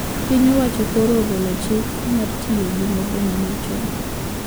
Piny owacho koro ogolo chik ,mar tiyo gi node manyachon